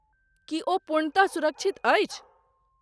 की ओ पूर्णतः सुरक्षित अछि?